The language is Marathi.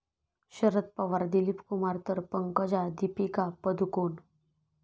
शरद पवार 'दिलीपकुमार' तर पंकजा 'दीपिका पदुकोण'